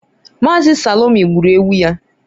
Mazi Salome gburu ewu ya?